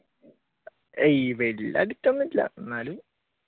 addict ഒന്നുമല്ല എന്നാലും